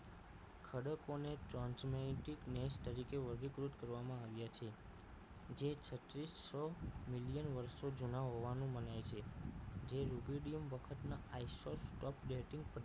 ખડકોને ચોંચને ટીક ને તરીકે વર્ગીકૃત કરવામાં આવ્યા છે જે છત્રીસો million વર્ષો જૂના હોવાનું મનાય છે જે ligedium વખત ના i sot top batting